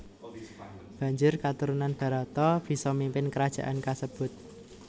Banjur katurunan Barata bisa mimpin krajaan kasebut